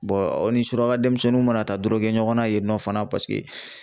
aw ni suraka] denmisɛnninw mana ta dɔrɔgɛ ɲɔgɔnna yen nɔ fana paseke